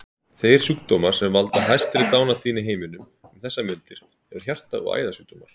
Þeir sjúkdómar sem valda hæstri dánartíðni í heiminum um þessar mundir eru hjarta- og æðasjúkdómar.